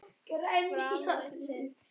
Fram vann sinn fyrsta titil.